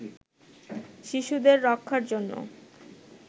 শিশুদের রক্ষার জন্য